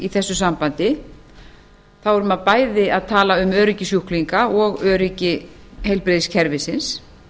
þessu sambandi þá er maður bæði að tala um öryggi sjúklinga og öryggi heilbrigðiskerfisins